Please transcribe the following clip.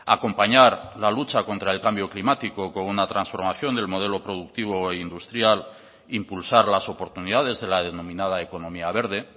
acompañar la lucha contra el cambio climático con una transformación del modelo productivo e industrial impulsar las oportunidades de la denominada economía verde